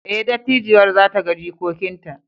Ee, dattijuwar za ta ga jikokinta!